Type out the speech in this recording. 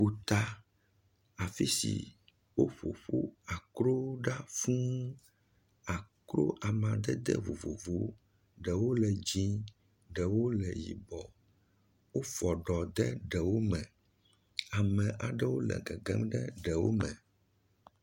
Ƒuta, afisi woƒo akrowo ɖe fũ. Akro amadede vovovowo, ɖewo le dzɛe, ɖewo le yibɔ. Wofɔ ɖo ɖe ɖewo me. Ame aɖewo le gegem ɖe ɖewo me.